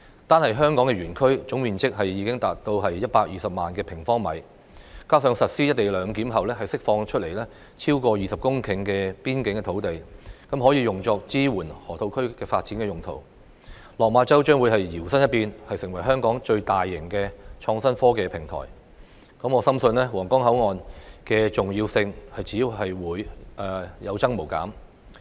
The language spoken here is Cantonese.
單是香港園區的總樓面面積已達120萬平方米，加上實施"一地兩檢"後釋放出來超過20公頃的邊境土地，可以用作支援河套區發展用途，落馬洲將會搖身一變，成為香港最大型的創新科技平台，我深信皇崗口岸的重要性只會有增無減。